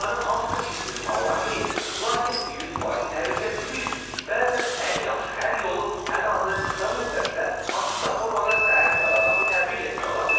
Onların hamısı pis insanlar deyil, lakin 100% təhlükəsizlik üçün bəzən ən yaxşı həll yolu ən azı qısa müddətdə hansısa formada səyahət qadağası tətbiq etmək ola bilər.